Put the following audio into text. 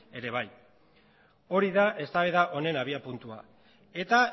ere bai hori da eztabaida honen abiapuntua eta